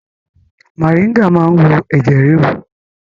Moringa cures high blood pressure